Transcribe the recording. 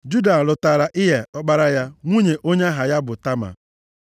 Juda lụtaara Ịa, ọkpara ya, nwunye onye aha ya bụ Tama.